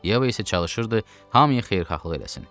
Yeva isə çalışırdı hamıya xeyirxahlıq eləsin.